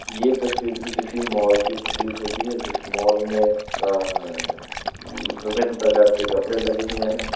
ये तस्वीर भी किसी मॉल की प्रतीत होती है जिस मॉल में अ विभिन्न प्रकार के कपड़े लगे हुए हैं।